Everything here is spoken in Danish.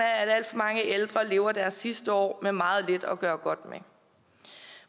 at alt for mange ældre lever deres sidste år med meget lidt at gøre godt med